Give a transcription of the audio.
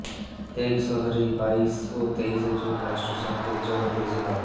Hague শহরেই বাইশ ও তেইশে জুন রাষ্ট্রসংঘের জন পরিষেবা